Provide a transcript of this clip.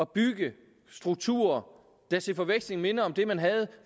bygge strukturer der til forveksling minder om det man havde